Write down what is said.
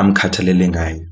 amkhathalele ngayo.